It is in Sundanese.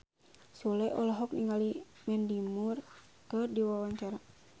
Sule olohok ningali Mandy Moore keur diwawancara